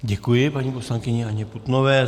Děkuji paní poslankyni Anně Putnové.